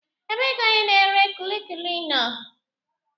Ebee ka onye na-ere kulikuli nọ?